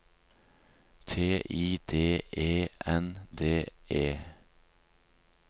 T I D E N D E